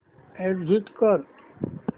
exit कर